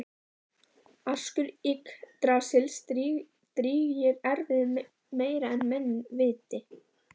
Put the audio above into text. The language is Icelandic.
Askur Yggdrasils drýgir erfiði meira en menn viti